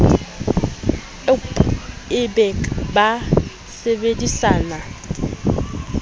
ewp e be ba sebedisana